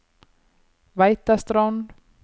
Veitastrond